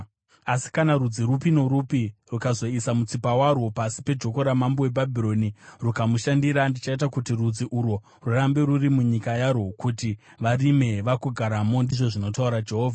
Asi kana rudzi rupi norupi rukazoisa mutsipa warwo pasi pejoko ramambo weBhabhironi rukamushandira, ndichaita kuti rudzi urwo rurambe rwuri munyika yarwo kuti varime vagogaramo, ndizvo zvinotaura Jehovha.” ’”